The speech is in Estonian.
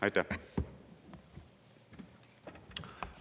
Aitäh!